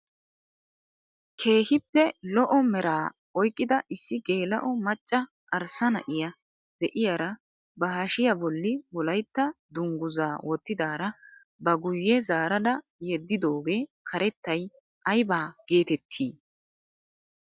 Keehippe lo"o meraa oyqqida issi geela'o macca arssa na'iyaa de'iyaara ba hashshiyaa bolli wolaytta dunguzaa wottidara ba guye zaarada yeddidogee karettay ayba geetettii?